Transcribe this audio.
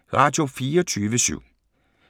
Radio24syv